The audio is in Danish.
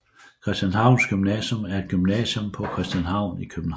Christianshavns Gymnasium er et gymnasium på Christianshavn i København